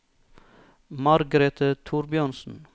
Margrete Thorbjørnsen